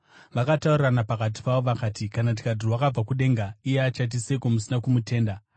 Vakataurirana pakati pavo vakati, “Kana tikati, ‘Rwakabva kudenga,’ iye achati, ‘Seiko musina kumutenda?’